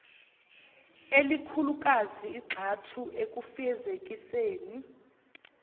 elikhulukazi igxathu ekufezekiseni